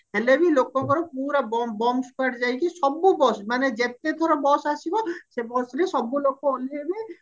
ହେଲେବି ଲୋକଙ୍କର ପୁରା bum bum squad ଯାଇକି ସବୁ bus ମାନେ ଯେତେ ଥର bus ଆସିବ ସେ busରେ ସବୁ ଲୋକ ଓଲ୍ହେଇବେ